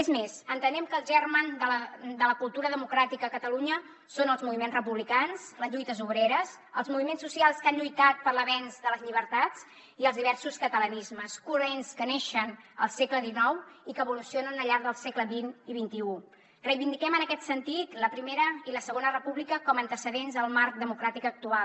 és més entenem que el germen de la cultura democràtica a catalunya són els moviments republicans les lluites obreres els moviments socials que han lluitat per l’avenç de les llibertats i els diversos catalanismes corrents que neixen al segle xix i que evolucionen al llarg dels segles xx i reivindiquem en aquest sentit la primera i la segona república com a antecedents al marc democràtic actual